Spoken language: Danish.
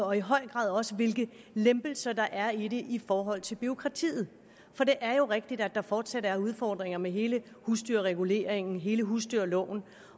og i høj grad også hvilke lempelser der er i det i forhold til bureaukratiet for det er jo rigtigt at der fortsat er udfordringer med hele husdyrreguleringen hele husdyrloven